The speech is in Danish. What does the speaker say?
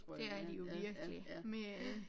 Det de jo virkelig med øh